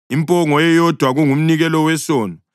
impongo eyodwa kungumnikelo wesono;